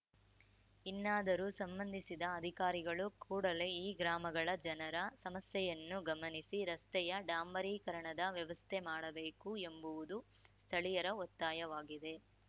ಇನ್ನಾದರೂ ಸಂಬಂಧಿಸಿದ ಅಧಿಕಾರಿಗಳು ಕೂಡಲೇ ಈ ಗ್ರಾಮಗಳ ಜನರ ಸಮಸ್ಯೆಯನ್ನು ಗಮನಿಸಿ ರಸ್ತೆಯ ಡಾಂಬರೀಕರಣದ ವ್ಯವಸ್ಥೆ ಮಾಡಬೇಕು ಎಂಬುವುದು ಸ್ಥಳೀಯರ ಒತ್ತಾಯವಾಗಿದೆ